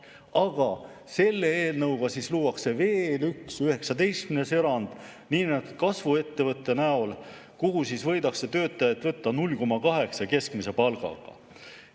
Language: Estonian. Aga selle eelnõuga luuakse veel üks, 19. erand niinimetatud kasvuettevõtte näol, kuhu võidakse töötajaid võtta 0,8 keskmise palgaga.